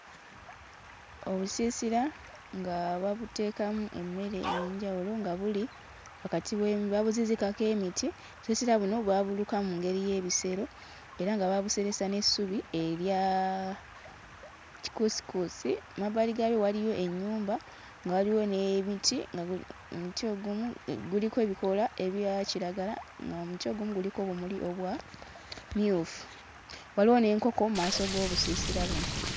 Obusiisira nga babuteekamu emmere ey'enjawulo nga buli wakati we... babuzizikako emiti. Obusiisira buno baabuluka mu ngeri y'ebisero era nga baabuseresa n'essubi erya kikuusikuusi. Emabbali gaayo waliyo ennyumba nga waliwo n'ebiti nga buli... omuti ogumu guliko ebikoola ebya kiragala ng'omuti ogumu guliko obumuli obwa mmyufu. Waliwo n'enkoko mu maaso g'obusiisira buno.